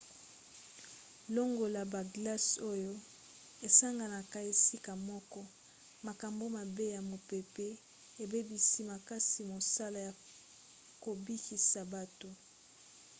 longola baglace oyo esanganaka esika moko makambo mabe ya mopepe ebebisi makasi mosala ya kobikisa bato